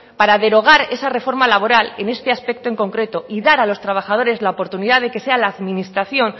para derogar esa reforma laboral en este aspecto concreto y dar a los trabajadores la oportunidad de que sea la administración